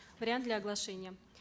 вариант для оглашения